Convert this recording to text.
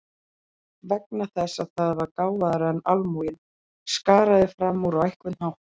Vegna þess að það var gáfaðra en almúginn, skaraði fram úr á einhvern hátt.